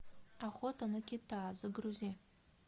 охота на кита загрузи